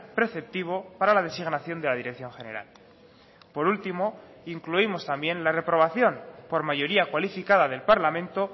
preceptivo para la designación de la dirección general por último incluimos también la reprobación por mayoría cualificada del parlamento